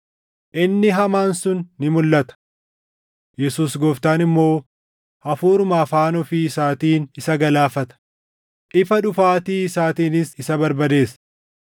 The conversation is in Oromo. Inni Hamaan sun ni mulʼata; Yesuus Gooftaan immoo hafuuruma afaan ofii isaatiin isa galaafata; ifa dhufaatii isaatiinis isa barbadeessa.